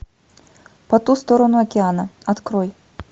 по ту сторону океана открой